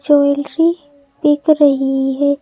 Jewellery बिक रही है।